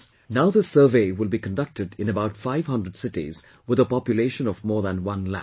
Now, this survey will be conducted in about 500 cities with a population of more than 1 lakh